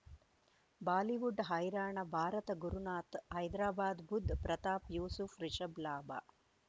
Bollywood ಹೈರಾಣ ಭಾರತ ಗುರುನಾಥ ಹೈದರಾಬಾದ್ ಬುಧ್ ಪ್ರತಾಪ್ ಯೂಸುಫ್ ರಿಷಬ್ ಲಾಭ